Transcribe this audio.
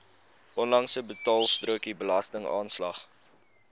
onlangse betaalstrokie belastingaanslag